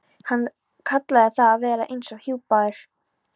Hann kallaði það að vera eins og hjúpaður.